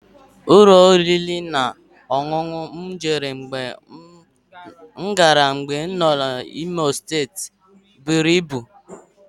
Ụlọ oriri na ọṅụṅụ m jere mgbe m gara Imo steeti buru ibu